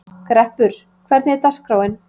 Greppur, hvernig er dagskráin?